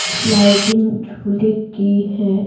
Sliding झूले की है।